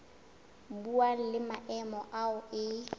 buang le maemo ao e